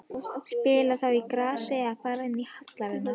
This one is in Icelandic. Spila þá á grasi eða fara inn í hallirnar?